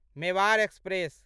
Mewar express